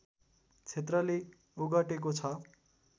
क्षेत्रले ओगटेको छ